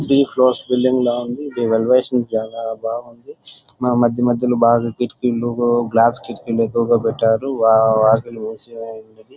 Three floors building లాగా ఉంది. ఇది ఎలివేషన్ జాత లేక బాగుంది. మధ్యమధ్యలో కిటికీలు గ్లాస్ కిటికీలతో ఉన్నది. --